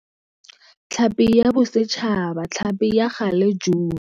Tlhapi ya Bosetšhaba, tlhapi ya galejune.